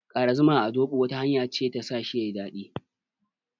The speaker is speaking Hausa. Ƙara zuma a zoɓo wata hanya ce ta sa shi yayi daɗi.